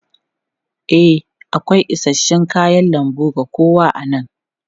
E, akwai isasshen kayan lambu ga kowa a nan.